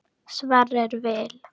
Sverrir Vil.